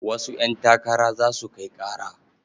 Wasu ƴantakara za su kai ƙara.